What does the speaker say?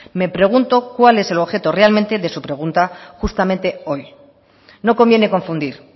me pregunto cuál es el objeto realmente de su pregunta justamente hoy no conviene confundir